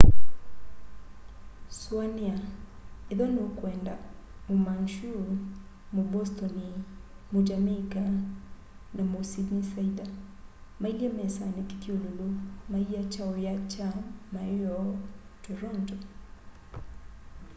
sũanĩa ethĩwa nĩũkwenda mũ mancu mũ bostoni mũ jamaica na mũ sydneysider mailye mesanĩ kĩthyũlũlũ maiya ky'aũya kya ma'ĩyoo toronto